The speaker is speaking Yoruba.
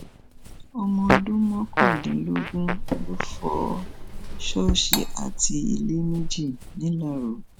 ọmọdún mọkàndínlógún lóò fọ ṣọọṣì àti ilé méjì ńìláró